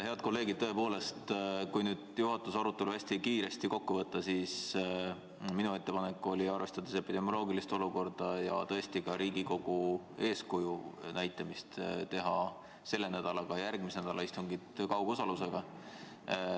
Head kolleegid, tõepoolest, kui juhatuse arutelu hästi kiiresti kokku võtta, siis minu ettepanek oli, arvestades epidemioloogilist olukorda ja ka vajadust, et Riigikogu näitaks eeskuju, teha selle nädala ja ka järgmise nädala istungid kaugosalusega.